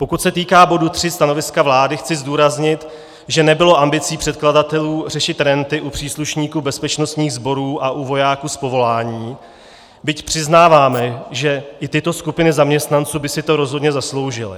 Pokud se týká bodu 3 stanoviska vlády, chci zdůraznit, že nebylo ambicí předkladatelů řešit renty u příslušníků bezpečnostních sborů a u vojáků z povolání, byť přiznáváme, že i tyto skupiny zaměstnanců by si to rozhodně zasloužily.